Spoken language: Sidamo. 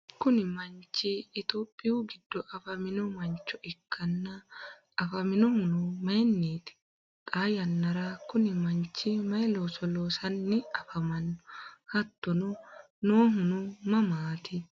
kuni manchi tophiyu giddo afamino mancho ikkanna, afaminohuno mayiinniiti? xaa yannara kuni manchi mayii looso loosanni afamanno? hattono noohuno mamaati?